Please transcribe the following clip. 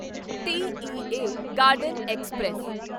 TEA Garden express